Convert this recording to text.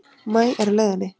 Maí er á leiðinni.